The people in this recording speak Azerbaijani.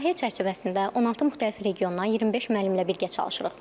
Layihə çərçivəsində 16 müxtəlif regiondan 25 müəllimlə birgə çalışırıq.